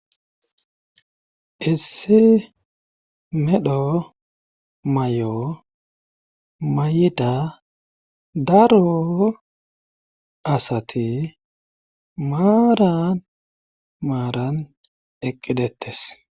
issi medho may7o mayida daro asati maaran maaran eqqidettes